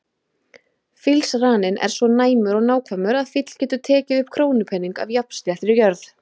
Fílsraninn er svo næmur og nákvæmur að fíll getur tekið upp krónupening af jafnsléttri jörð.